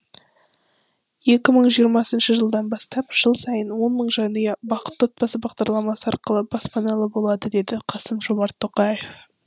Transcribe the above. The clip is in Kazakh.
екі мың жиырмасыншы жылдан бастап жыл сайын он мың жанұя бақытты отбасы бағдарламасы арқылы баспаналы болады деді қасым жомарт тоқаев